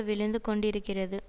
விழுந்து கொண்டிருக்கிறது